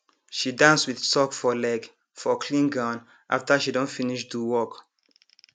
she dance with sock for leg for clean ground after she don finish do work